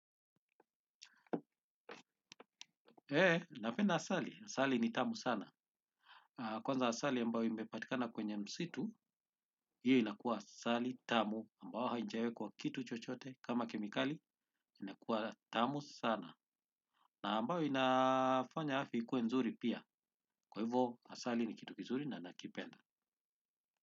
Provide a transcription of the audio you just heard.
He, napenda asali. Asali ni tamu sana. Kwanza asali ambayo imepatikana kwenye msitu, hiyo inakua asali tamu ambao haijawekwa kitu chochote kama kemikali, inakua tamu sana. Na ambayo inafanya afya ikuwe nzuri pia. Kwa hivo asali ni kitu kizuri na nakipenda.